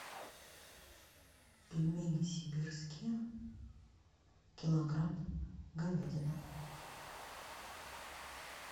пельмени сибирские килограмм говядина